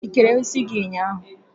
Ikere isi gị ụnyaahụ?